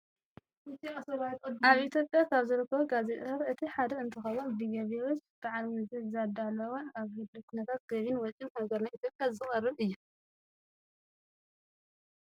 ኣብ ኢትዮጵያ ካብ ዝርከቡ ጋዜጣታት እቲ ሓደ እንትኸውን ብገቢዎች በዓል መዚ ዝዳለው ኣብ ህሉው ኩነታት ገብን ወጭን ሀገርና ኢትዮጵያ ዘቅርብ እዩ።